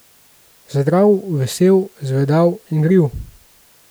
Zdrav, vesel, zvedav, igriv.